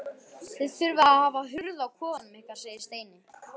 Þið þurfið að hafa hurð á kofanum ykkar segir Steini.